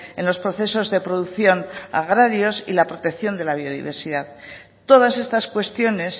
en los procesos de producción agrarios y la protección de la biodiversidad todas estas cuestiones